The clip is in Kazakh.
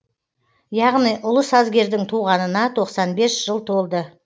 яғни ұлы сазгердің туғанына тоқсан бес жыл толды